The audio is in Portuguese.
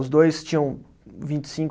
Os dois tinham vinte e cinco